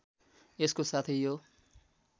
यसको साथै यो